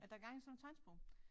At der gang i sådan noget tegnsprog